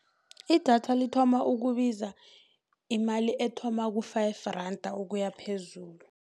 Idatha lithoma ukubiza imali ethoma ku-five randa kuya phezulu.